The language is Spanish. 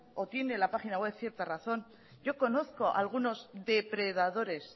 o tiene la página web cierta razón yo conozco algunos depredadores